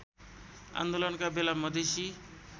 आन्दोलनका बेला मधेसी